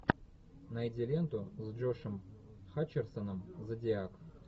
найди ленту с джошем хатчерсоном зодиак